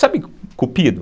sabe cupido?